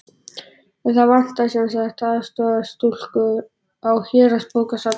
En það vantaði sem sagt aðstoðarstúlku á Héraðsbókasafnið.